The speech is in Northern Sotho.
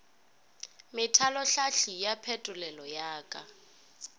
methalohlahli ya phetolelo ya ka